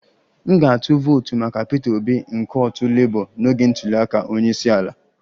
M ga-atụ vootu maka Peter Obi nke otu Labour n'oge ntuli aka onye isi ala